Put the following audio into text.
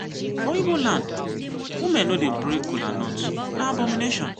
for ibo land women no dey break colanut na abomination.